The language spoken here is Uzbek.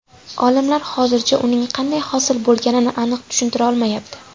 Olimlar hozircha uning qanday hosil bo‘lganini aniq tushuntira olmayapti.